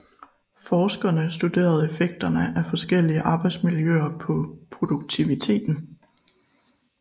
Forskerne studerede effekterne af forskellige arbejdsmiljøer på produktiviteten